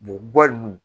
ninnu